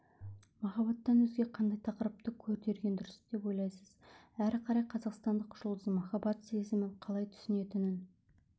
махаббаттан өзге қандай тақырыпты көтерген дұрыс деп ойлайсыз әрі қарай қазақстандық жұлдыз махаббат сезімін қалай түсінетінін